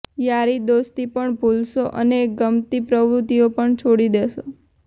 યારીદોસ્તી પણ ભૂલશો અને ગમતી પ્રવૃત્તિઓ પણ છોડી દેશો